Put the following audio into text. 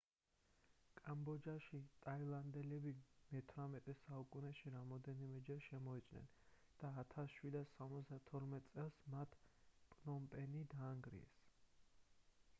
კამბოჯაში ტაილანდელები მე-18 საუკუნეში რამდენჯერმე შემოიჭრნენ და 1772 წელს მათ პნომპენი დაანგრიეს